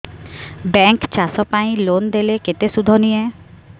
bank ଚାଷ ପାଇଁ loan ଦେଲେ କେତେ ସୁଧ ନିଏ